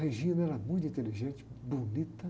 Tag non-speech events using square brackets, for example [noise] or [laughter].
[unintelligible] era muito inteligente, bonita.